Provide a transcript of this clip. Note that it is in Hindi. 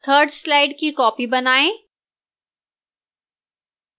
3rd slide की copy बनाएं